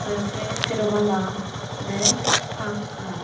tey sei seropala bek pakkar.